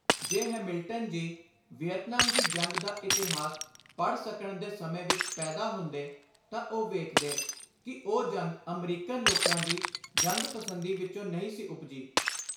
ਜੇ Hamilton ji Vietnam ਦੀ ਜੰਗ ਦਾ ਇਤਿਹਾਸ ਪੜ੍ਹ ਸਕਣ ਦੇ ਸਮੇਂ ਵਿਚ ਪੈਦਾ ਹੁੰਦੇ ਤਾਂ ਉਹ ਵੇਖਦੇ ਕਿ ਉਹ ਜੰਗ ਅਮਰੀਕਨ ਲੋਕਾਂ ਦੀ ਜੰਗ-ਪਸੰਦੀ ਵਿਚੋਂ ਨਹੀਂ ਸੀ ਉਪਜੀ।